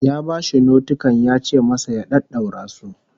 Ya bashi notikan yace masa ya daddaura su